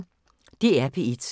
DR P1